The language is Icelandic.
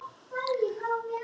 Kímum og blikkum hvor aðra.